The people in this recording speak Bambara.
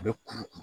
A bɛ kuru kuru